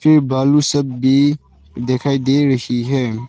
ये बालू सब भी दिखाई दे रही है।